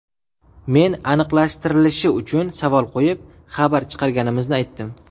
Men aniqlashtirilishi uchun savol qo‘yib, xabar chiqarganimizni aytdim.